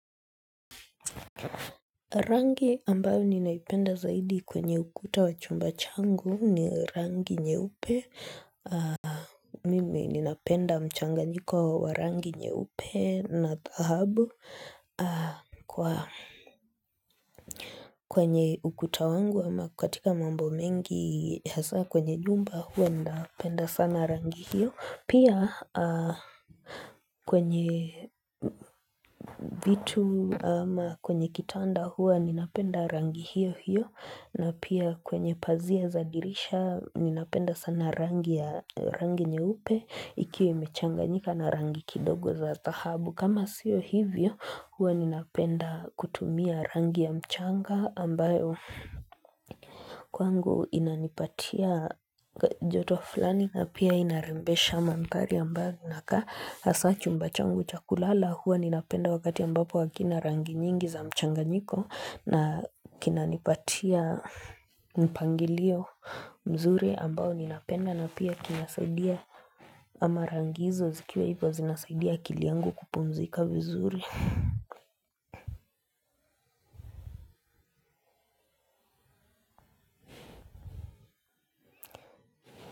Rangi ambayo ninaipenda zaidi kwenye ukuta wa chumba changu ni rangi nyeupe Mimi ninapenda mchanga nyiko wa rangi nyeupe na thahabu kwa kwenye ukuta wangu ama katika mambo mengi kwenye nyumba huwa napenda sana rangi hiyo Pia kwenye vitu ama kwenye kitanda huwa ninapenda rangi hiyo hiyo na pia kwenye pazia za dirisha ninapenda sana rangi ya rangi nyeupe Ikiwa imechanganyika na rangi kidogo za thahabu kama sio hivyo huwa ninapenda kutumia rangi ya mchanga ambayo kwangu inanipatia joto flani na pia inarembesha mandhari ambavyo nakaa hasa chumba changu chakulala huwa ninapenda wakati ambapo hakina rangi nyingi za mchanganyiko na kinanipatia mpangilio mzuri ambao ninapenda na pia kinasaidia ama rangi hizo zikiwa hivyo zinasaidia akili yangu kupumzika vizuri.